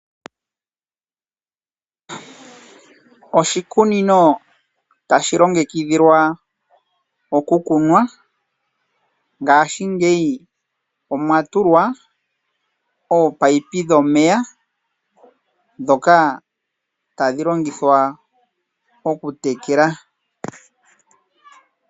Oshikunino tashi longekidhilwa okukunwa ngashingeyi omwatulwa oopayipi dhomeya ndhoka tadhi longithwa okutekela .